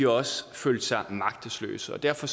også følt sig magtesløse derfor